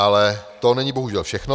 Ale to není bohužel všechno.